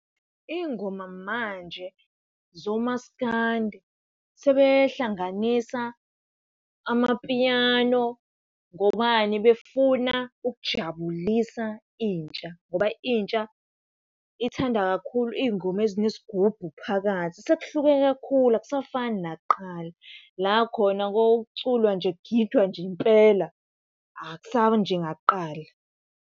Iy'ngoma manje zoMaskandi sebehlanganisa amapiano. Ngobani? Befuna ukujabulisa intsha ngoba intsha ithanda kakhulu iy'ngoma ezine sigubhu phakathi. Sekuhluke kakhulu akusafani nakuqala la khona kwakuculwa nje, kugidwa nje impela akusanje ngakuqala.